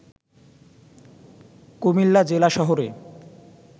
কুমিল্লা জেলা শহরে